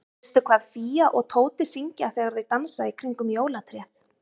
Veistu hvað Fía og Tóti syngja þegar þau dansa í kringum jólatréð?